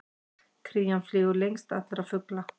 Krían flýgur lengst allra fugla!